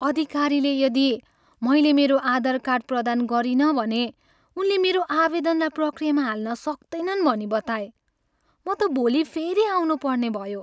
अधिकारीले यदि मैले मेरो आधार कार्ड प्रदान गरिनँ भने उनले मेरो आवेदनलाई प्रक्रियामा हाल्न सक्तैनन् भनी बताए। म त भोलि फेरि आउनुपर्ने भयो।